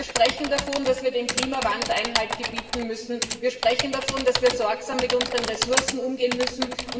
Wir sprechen davon, dass wir dem Klimawandel Einhalt gebieten müssen, wir sprechen davon, dass wir sorgsam mit unseren Ressourcen umgehen müssen.